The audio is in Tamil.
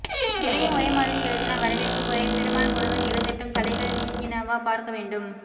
எதையும் ஒரே மாதிரி எழுதினால் வரவேற்பு குறையும் பெருமாள் முருகன் எழுதட்டும் தளைகள் நீங்கினவா பார்க்க வேண்டும்